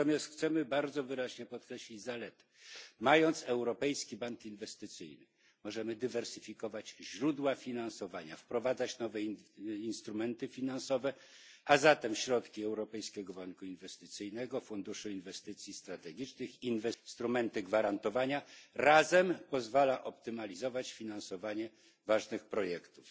Natomiast chcemy bardzo wyraźnie podkreślić zalety mając Europejski Bank Inwestycyjny, możemy dywersyfikować źródła finansowania, wprowadzać nowe instrumenty finansowe, a zatem środki Europejskiego Banku Inwestycyjnego, Funduszu Inwestycji Strategicznych, instrumenty gwarantowania razem pozwalają optymalizować finansowanie ważnych projektów.